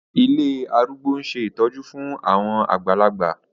Ilé arúgbó ń ṣe ìtọ́jú fún àwọn àgbàlagbà